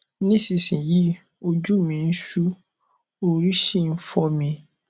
nísinyìí ojú mi ń ṣú orí sì ń fọ mi